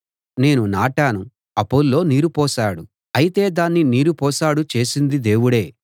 నేను నాటాను అపొల్లో నీరు పోశాడు అయితే దాన్ని నీరు పోశాడు చేసింది దేవుడే